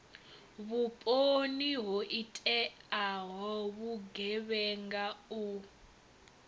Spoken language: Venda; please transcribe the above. vhuponi ho iteaho vhugevhenga u